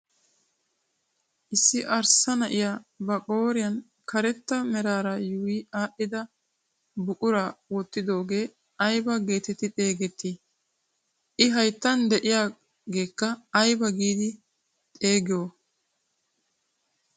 Issi arssa na'iyaa ba qooriyaa karetta meraara yuuyi adhdhida buquraa wottidogee aybaa getetti xegettii? i hayttan de'iyaagekka ayba giidi xeegiyoo?